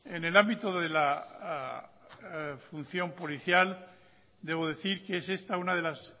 en el ámbito de la función policial debo decir que es esta una de las